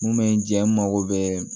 Mun bɛ n jɛ n mago bɛ